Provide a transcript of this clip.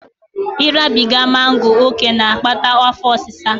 Ịrabiga mango ókè na-akpata afọ osịsa